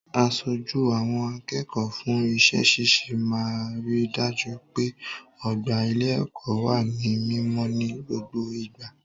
Aṣojú àwọn akẹ́kọ̀ọ́ fún iṣẹ́ ṣíṣe máa ri dájú pé ọgbà ilé-ẹ̀kọ́ wà ní mímọ́ ní gbogbo ìgbà.